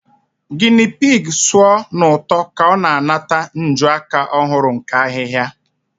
Guinea pig sụọ n'ụtọ ka ọ na-anata njuaka ọhụrụ nke ahihia.